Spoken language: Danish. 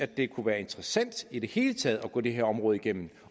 det kunne være interessant i det hele taget at gå det her område igennem